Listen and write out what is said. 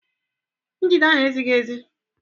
Njide ahụ ezighi ezi?